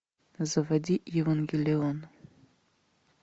заводи евангелион